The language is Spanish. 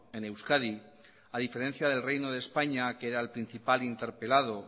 en euskadi a diferencia del reino de españa que era el principal interpelado